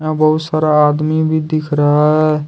यहां बहुत सारा आदमी भी दिख रहा है।